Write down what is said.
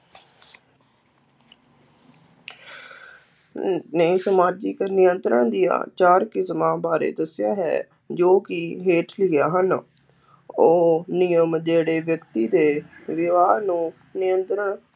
ਅਮ ਨੇ ਸਮਾਜਿਕ ਨਿਯੰਤਰਣ ਦੀਆਂ ਚਾਰ ਕਿਸਮਾਂ ਬਾਰੇ ਦੱਸਿਆ ਹੈ ਜੋ ਕਿ ਹੇਠ ਲਿਖੀਆਂ ਹਨ, ਉਹ ਨਿਯਮ ਜਿਹੜੇ ਵਿਅਕਤੀ ਦੇ ਵਿਵਹਾਰ ਨੂੰ ਨਿਯੰਤਰਣ